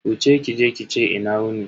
Wuce kije ki ce "Ina wuni".